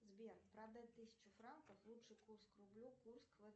сбер продать тысячу франков лучший курс к рублю курс